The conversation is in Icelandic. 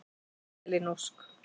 Elín Ósk.